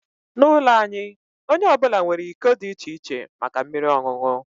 N'ụlọ anyị, onye ọ bụla nwere iko dị iche iche maka mmiri ọṅụṅụ